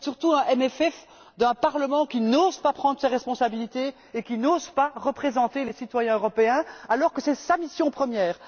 C'est surtout un CFP d'un Parlement qui n'ose pas prendre ses responsabilités et qui n'ose pas représenter les citoyens européens, alors que c'est sa mission première!